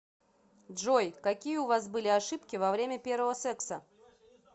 джой какие у вас были ошибки во время первого секса